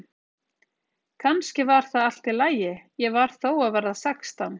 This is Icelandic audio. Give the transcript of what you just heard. Kannski var það allt í lagi, ég var þó að verða sextán.